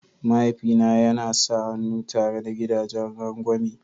Mahaifi na yana sa hannu tare da gidagen rangwame.